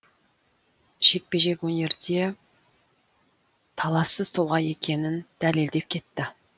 жекпе жек өнерде талассыз тұлға екенін дәлелдеп кетті